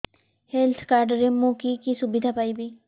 health card ରେ ମୁଁ କି କି ସୁବିଧା ପାଇବି